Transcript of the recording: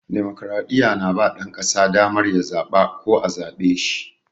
Damokradiyya na ba ɗan ƙasa damar ya zaɓa ko a zaɓe shi.